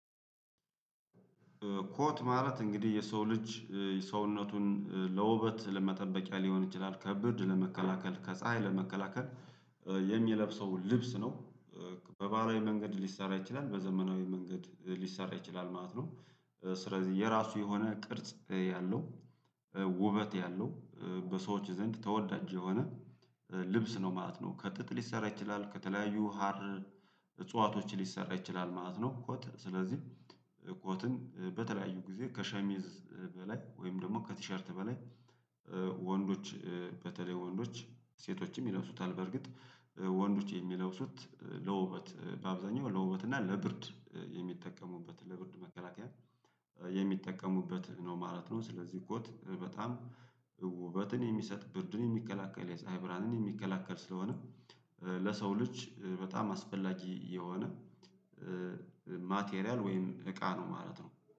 ኮት ማለት እንግዲህ የሰው ልጅ ሰውነቱን ለውበት ለመጠበቂያ ሊሆን ይችላል ከብድ ለመከላከል ከፀሀይ ለመከላከል የሚለብሰው ልብስ ነው። በባህላዊ መንገድ ሊሰራ ይችላል በዘመናዊ መንገድ ሊሰራ ይችላል ማለት ነው። ስለዚህ የራሱ የሆነ ቅርጽ ያለው ውበት ያለው በሰዎች ዘንድ ተወዳጅ የሆነ ልብስ ነው ማለት ነው። ከጥጥ ሊሰራ ይችላል ከተለያዩ ሀር እጽዋቶች ሊሰራ ይችላል ማለት ነው። ኮት ስለዚህ ኮትን በተለያዩ ጊዜ ከሸሚዝ በላይ ወይም ደግሞ ከቲሸርት በላይ። ወንዶች በተለይ ወንዶች ሴቶችም ይለብሱታል በእርግጥ ወንዶች የሚለብሱት ለውበት በአብዛኛው ለውበት እና ለብርድ የሚጠቀሙበት ለብርድ መከላከያ የሚጠቀሙበት ነው ማለት ነው። ስለዚህ ኮት በጣም ውበትን የሚሰጥ ብርድን የሚቀላቀል የፀሀይ ብርሃንን የሚከላከል ስለሆነ ለሰው ልጅ በጣም አስፈላጊ የሆነ ማቴሪያል ወይም እቃ ነው ማለት ነው